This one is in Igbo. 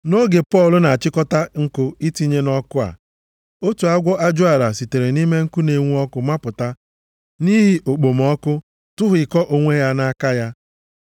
Nʼoge Pọl na-achịkọta nkụ itinye nʼọkụ a, otu agwọ ajụala sitere nʼime nkụ na-enwu ọkụ mapụta nʼihi okpomọkụ tụhịkọ onwe ya nʼaka ya.